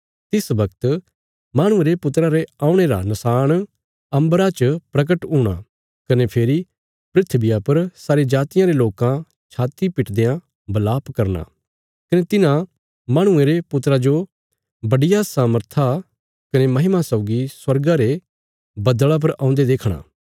तिस बगत माहणुये रे पुत्रा रे औणे रा नशाण अम्बरा च परगट हूणा कने फेरी धरतिया पर सारी जातियां रे लोकां छाती पिट देयां बलाप करना कने तिन्हां माहणुये रे पुत्रा जो बड्डिया सामर्थ कने महिमा सौगी स्वर्गा रे बद्दल़ा पर औन्दे देखणा